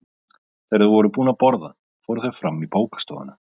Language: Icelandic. Þegar þau voru búin að borða fóru þau fram í bókastofuna.